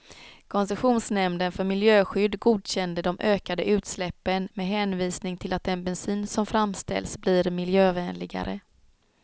Koncessionsnämnden för miljöskydd godkände de ökade utsläppen med hänvisning till att den bensin som framställs blir miljövänligare.